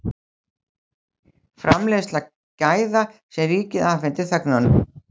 Framleiðsla gæða sem ríkið afhendir þegnunum